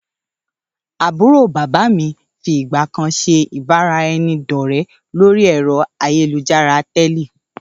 Àbúrò bàbá mií fi ìgbàkan ṣe ìbára ẹni dọ̀rẹ lórí ẹ̀rọ ayélujára tẹ́lẹ̀